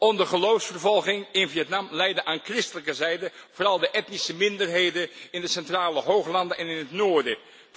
Onder geloofsvervolging in Vietnam lijden aan christelijke zijde vooral de etnische minderheden in de centrale hooglanden en in het noorden.